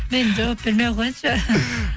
мен жауап бермей ақ қояйыншы